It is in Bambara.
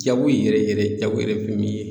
Jago yɛrɛ yɛrɛ jago yɛrɛ ye fɛn min ye